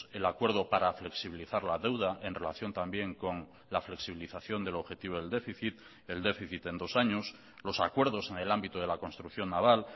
el acuerdo para flexibilizar la deuda en relación también con la flexibilización del objetivo del déficit el déficit en dos años los acuerdos en el ámbito de la construcción naval